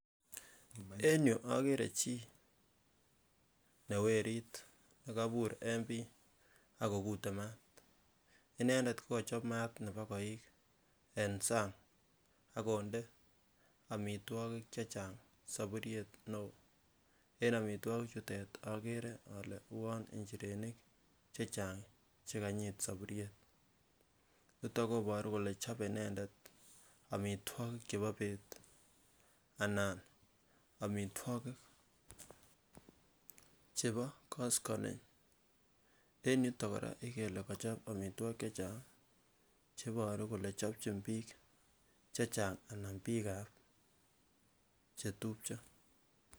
en yuu okere okere chii ne werit nekobur en bii akokute maat inendet kokochob maat nebo koik en sang akonde amitwogik chechang soburyet newoo, en omitwogik chutet okere ole uon nchirenik chechang chekanyit soburyet niton koburu kole chobe inendet omitwogik chebo beet anan omitwogik chebo koskoleng en yuton kora ikere ile kochob omitwogik chechang cheboru kole chobchin biik chechang anan biikab chetupcho